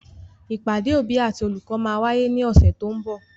Ìpàdé òbí àti olùkọ́ máa wáyé ní ọ̀sẹ̀ to ń bọ̀.